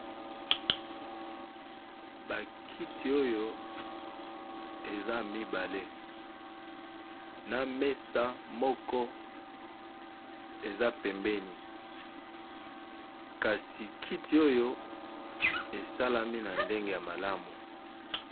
Bakiti oyo eza mibale na mesa moko eza pembeni kasi kiti oyo esalami na ndenge ya malamu.